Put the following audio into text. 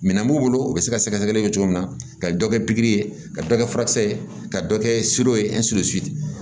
Minɛn b'u bolo u bɛ se ka sɛgɛsɛgɛli kɛ cogo min na ka dɔ kɛ pikiri ye ka dɔ kɛ furakisɛ ye ka dɔ kɛ